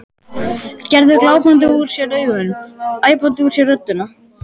Gerður glápandi úr sér augun, æpandi úr sér röddina.